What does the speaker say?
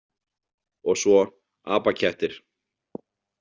Og svo: „apakettir“.